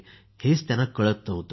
हेच त्यांना समजत नव्हते